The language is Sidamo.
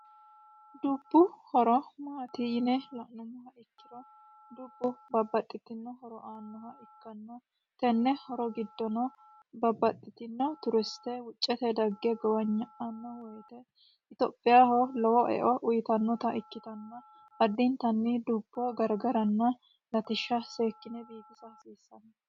dubbu horo maatiyine la'numoha ikkiro dubbu babbaxxitino horo aannoha ikkanno tenne horo giddono babbaxxitino turiste wuccete dagge gowanya'anno woyite itophiyaho lowo eo uyitannota ikkitanna addintanni dubboo garagaranna latishsha seekkine biifiisa hasiissanno